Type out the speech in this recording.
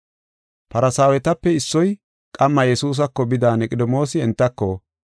Farsaawetape issoy qamma Yesuusako bida Niqodimoosi entako,